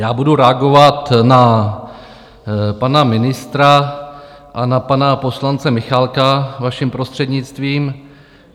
Já budu reagovat na pana ministra a na pana poslance Michálka, vaším prostřednictvím.